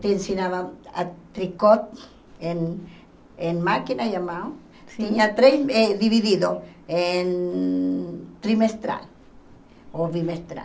Te ensinavam a tricote em em máquina e a mão, tinha três, dividido, em trimestral ou bimestral.